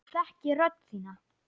Ég þekki rödd þína.